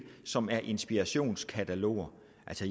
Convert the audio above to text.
som er inspirationskataloger